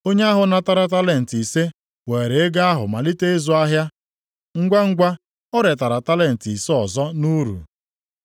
Onye ahụ natara talenti ise weere ego ahụ malite ịzụ ahịa. Ngwangwa o retara talenti ise ọzọ nʼuru.